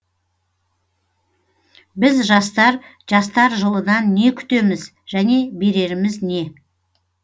біз жастар жастар жылынан не күтеміз және береріміз не